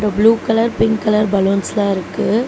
Blue colour pink colour பலூன்ஸ்லா இருக்கு.